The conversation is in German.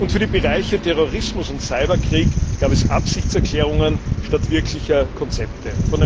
Und für die Bereiche Terrorismus und Cyberkrieg gab es Absichtserklärungen anstatt wirklicher Konzepte.